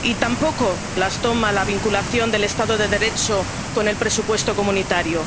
y tampoco las toma la vinculación del Estado de Derecho con el presupuesto comunitario.